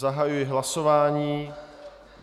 Zahajuji hlasování.